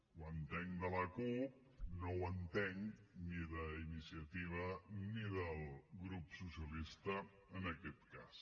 ho entenc de la cup no ho entenc ni d’iniciativa ni del grup socialista en aquest cas